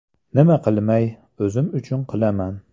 Nima qilmay, o‘zim uchun qilaman.